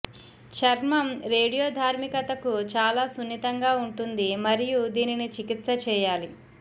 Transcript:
చర్మం రేడియోధార్మికతకు చాలా సున్నితంగా ఉంటుంది మరియు దీనిని చికిత్స చేయాలి